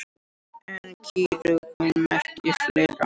En kýrauga merkir fleira.